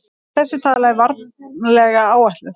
Þessi tala er varlega áætluð.